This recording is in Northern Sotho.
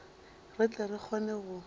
re tle re kgone go